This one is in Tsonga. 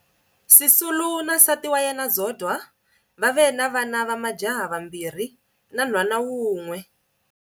Sisulu na nsati wa yena Zodwa va ve na vana va majaha vambirhi, 2, na nhwana wun'we, 1.